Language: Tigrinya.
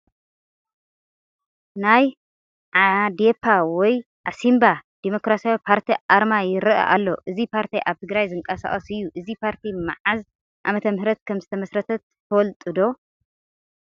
ናይ ዓዴፓ ወይ ዓሲምባ ዴሞክራሲያዊ ፓርቲ ኣርማ ይርአ ኣሎ፡፡ እዚ ፓርቲ ኣብ ትግራይ ዝንቀሳቐስ እዩ፡፡ እዚ ፓርቲ መዓዝ ዓመተ ምሕረት ከምዝተመስረተ ትፈልጡ ዶ?